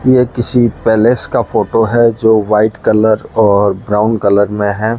ये किसी पैलेस का फोटो है जो वाइट कलर और ब्राउन कलर में है।